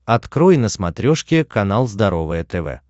открой на смотрешке канал здоровое тв